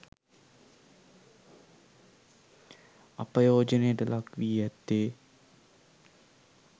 අපයෝජනයට ලක්වී ඇත්තේ